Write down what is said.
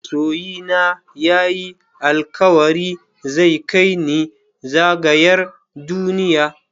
Masoyina ya yi alkawari zai kai ni zagayar duniya.